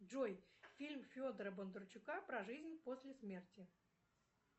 джой фильм федора бондарчука про жизнь после смерти